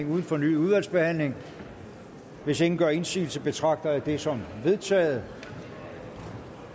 uden fornyet udvalgsbehandling hvis ingen gør indsigelse betragter jeg det som vedtaget